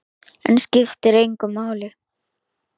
En það skiptir engu máli.